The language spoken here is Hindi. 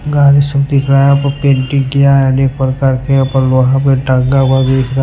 गाड़ी सब दिख रहा है पेंटिंग किया हुआ है दिख रहा है --